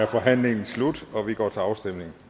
forhandlingen slut og vi går til afstemning